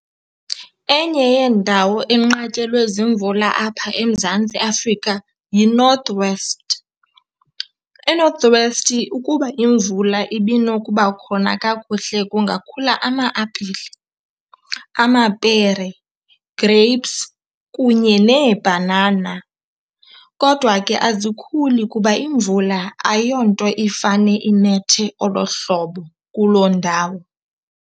Enye yeendawo enqatyelwe ziimvula apha eMzantsi Afrika yiNorth West. ENorth West ukuba imvula ibinokuba khona kakuhle kungakhula ama-apile, amapere, grapes kunye neebhanana kodwa ke azikhuli kuba imvula ayonto ifane inethe olo hlobo kuloo ndawo.